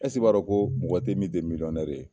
I b'a ko mɔgɔ te yen min tɛ ye ?